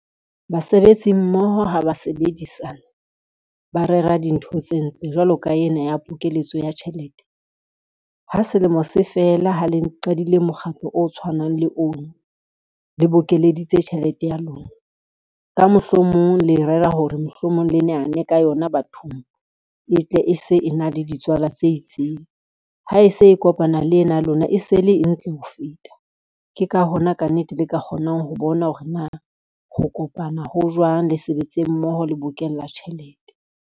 Basebetsi mmoho ha ba sebedisana, ba rera dintho tse ntle jwalo ka ena ya pokeletso ya tjhelete. Ha selemo se fela ha le qadile mokgahlo o tshwanang le ono le bokelleditse tjhelete ya lona, ka mohlomong le rera hore mohlomong le nehane ka yona bathong e tle e se e na le ditswala tse itseng. Ha e se e kopana le ena ya lona e se le e ntle ho feta, ke ka hona ka nnete le ka kgonang ho bona hore na ho kopana ho jwang, le sebetse mmoho le bokella tjhelete.